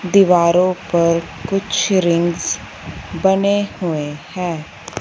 दीवारों पर कुछ रिंग्स बने हुए हैं।